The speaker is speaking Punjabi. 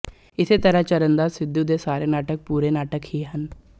ਇਸੇ ਤਰ੍ਹਾਂ ਚਰਨਦਾਸ ਸਿੱਧੂ ਦੇ ਸਾਰੇ ਨਾਟਕ ਪੂਰੇ ਨਾਟਕ ਹੀ ਹਨ